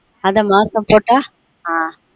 அத மாசம் போட்டா